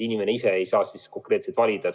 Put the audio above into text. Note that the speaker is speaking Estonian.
Inimene ise seal konkreetselt valida ei saa.